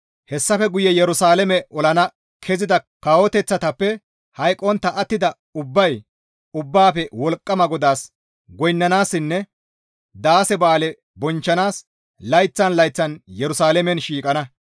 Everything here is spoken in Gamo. Hessafe guye Yerusalaame olana kezida kawoteththatappe hayqqontta attida ubbay Ubbaafe Wolqqama GODAAS goynnanaassinne daase ba7aale bonchchanaas layththan layththan Yerusalaamen shiiqana.